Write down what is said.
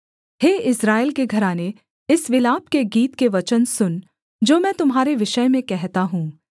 हे Israel के घराने इस विलाप के गीत के वचन सुन जो मैं तुम्हारे विषय में कहता हूँ